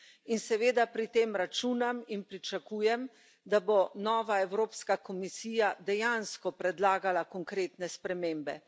In seveda pri tem računam in pričakujem, da bo nova Evropska komisija dejansko predlagala konkretne spremembe.